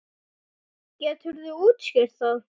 Geturðu útskýrt það?